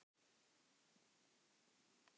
Ég veit hvað þér finnst það gott.